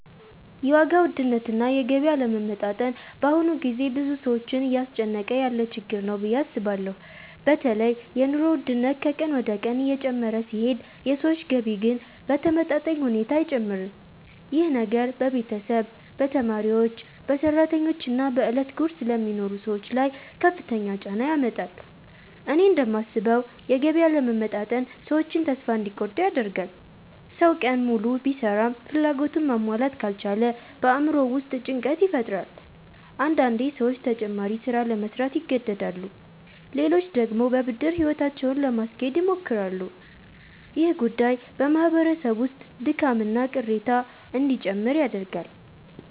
የዋጋ ውድነትና የገቢ አለመመጣጠን በአሁኑ ጊዜ ብዙ ሰዎችን እያስጨነቀ ያለ ችግር ነው ብዬ አስባለሁ። በተለይ የኑሮ ውድነት ከቀን ወደ ቀን እየጨመረ ሲሄድ የሰዎች ገቢ ግን በተመጣጣኝ ሁኔታ አይጨምርም። ይህ ነገር በቤተሰብ፣ በተማሪዎች፣ በሰራተኞች እና በዕለት ጉርስ ለሚኖሩ ሰዎች ላይ ከፍተኛ ጫና ያመጣል። እኔ እንደማስበው የገቢ አለመመጣጠን ሰዎችን ተስፋ እንዲቆርጡ ያደርጋል። ሰው ቀን ሙሉ ቢሰራም ፍላጎቱን ማሟላት ካልቻለ በአእምሮው ውስጥ ጭንቀት ይፈጠራል። አንዳንዴ ሰዎች ተጨማሪ ሥራ ለመሥራት ይገደዳሉ፣ ሌሎች ደግሞ በብድር ሕይወታቸውን ለማስኬድ ይሞክራሉ። ይህ ጉዳይ በማህበረሰብ ውስጥ ድካምና ቅሬታ እንዲጨምር ያደርጋል።